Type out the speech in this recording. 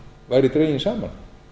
væri dreginn saman